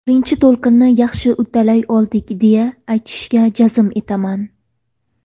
Birinchi to‘lqinni yaxshi uddalay oldik deya, aytishga jazm etaman.